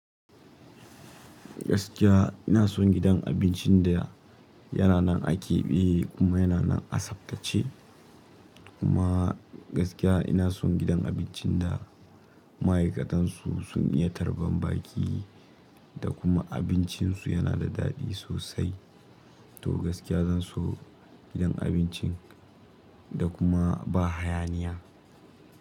Gaskiya ina son gidan abincin da yana nan a keɓe kuma yana nan a Saptace. Kuma gaskiya ina son gidan abincin da ma'aikatansu sun iya tarban baƙi da kuma abincinsu yana da daɗi sosai. To gaskiya zan so gidan abincin da kuma ba hayaniya.